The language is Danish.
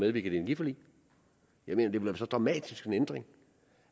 et energiforlig jeg mener det så dramatisk en ændring